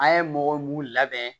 An ye mɔgɔ mun labɛn